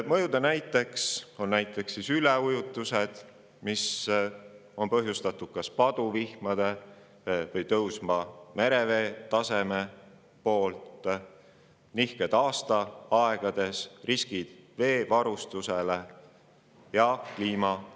Mõjude näideteks on üleujutused, mis on põhjustatud kas paduvihmadest või tõusvast merevee tasemest; nihked aastaaegades; riskid veevarustusele; ja kliimaränne.